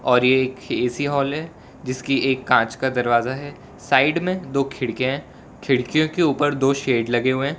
और ये एक ए_सी हॉल है जिसकी एक कांच का दरवाजा है साइड में दो खिड़कियां है खिड़कियों के ऊपर दो शेड लगे हुए हैं।